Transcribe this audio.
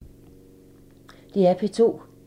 DR P2